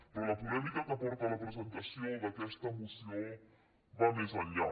però la polèmica que porta a la presentació d’aquesta moció va més enllà